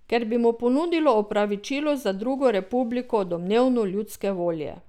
Ker bi mu ponudilo opravičilo za drugo republiko domnevno ljudske volje.